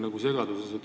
Ma olen segaduses.